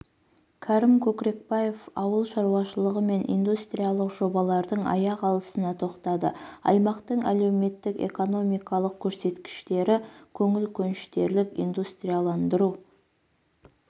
кәрім көкрекбаев ауыл шаруашылығы мен индустриялық жобалардың аяқ алысына тоқтады аймақтың әлеуметтік-экономикалық көрсеткіштері көңіл көншітерлік индустрияландыру